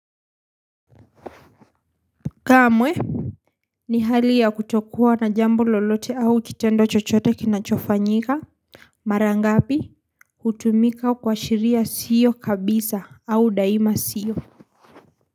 Kamwe. Ni hali ya kutokuwa na jambo lolote au kitendo chochote kinachofanyika. Marangapi kutumika kuashiria siyo kabisa au daima siyo.